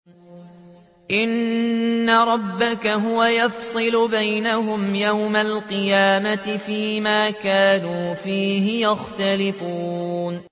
إِنَّ رَبَّكَ هُوَ يَفْصِلُ بَيْنَهُمْ يَوْمَ الْقِيَامَةِ فِيمَا كَانُوا فِيهِ يَخْتَلِفُونَ